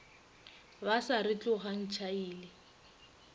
ba sa re tlogang tšhaile